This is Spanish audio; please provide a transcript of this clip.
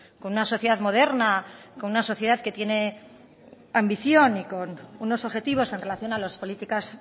con una sociedad moderna con una sociedad que tiene ambición y con unos objetivos en relación a las políticas